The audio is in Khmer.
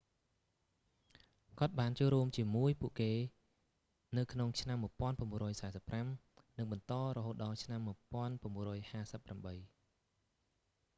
គាត់បានចូលរួមកជាមួយពួកគេនៅក្នុងឆ្នាំ 1945 និងបន្តរហូតដល់ឆ្នាំ1958